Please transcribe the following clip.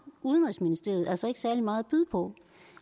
udenrigsministeriet altså ikke særlig meget at byde på